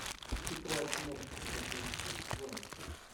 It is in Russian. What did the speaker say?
тетрадь смерти одиннадцатый сезон